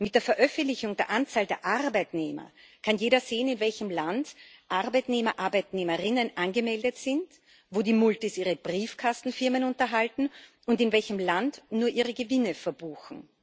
Mit der Veröffentlichung der Anzahl der Arbeitnehmer kann jeder sehen, in welchem Land Arbeitnehmer, Arbeitnehmerinnen angemeldet sind, wo die Multis ihre Briefkastenfirmen unterhalten und in welchem Land sie nur ihre Gewinne verbuchen.